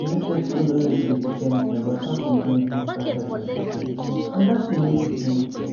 you know say school nor really dey teach anything about how to manage menstrual health and hygiene and that thing need to change